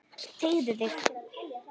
Teygðu þig.